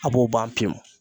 A b'o ban pewu.